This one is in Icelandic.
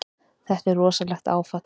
Þetta er rosalegt áfall.